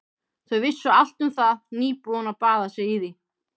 Þau vissu allt um það, nýbúin að baða sig í því.